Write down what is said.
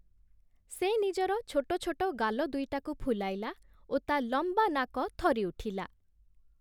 ସେ ନିଜର ଛୋଟ ଛୋଟ ଗାଲ ଦୁଇଟାକୁ ଫୁଲାଇଲା ଓ ତା ଲମ୍ବା ନାକ ଥରି ଉଠିଲା ।